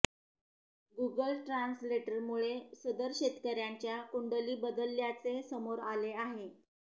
Google ट्रान्सलेटरमुळे सदर शेतकर्यांच्या कुंडली बदलल्याचे समोर आले आहे